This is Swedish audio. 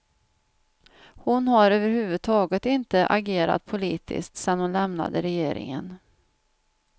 Hon har överhuvudtaget inte agerat politiskt sedan hon lämnade regeringen.